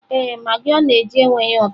Ee, magị ọ na-eji enweghị ụtọ.